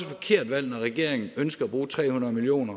forkert valg når regeringen ønsker at bruge tre hundrede million